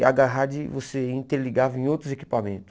E a Garrard você interligava em outros equipamentos.